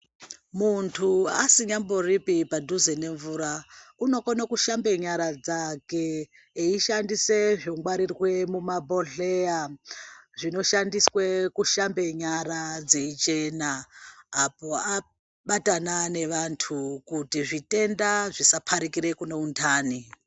Muntu asinyamboripi padhuze nemvura unokone kushambe nyaya dzake eishandisa zvongwarirwe mumabhohleya zvinoshandiswe kushambe nyara dzeichena apo abatana nevantu kuti zvitenda zvisapararira kune untani.